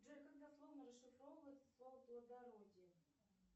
джой как дословно расшифровывается слово плодородие